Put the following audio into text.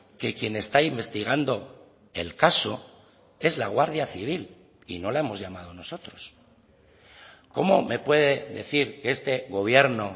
que quien está investigando el caso es la guardia civil y no la hemos llamado nosotros cómo me puede decir que este gobierno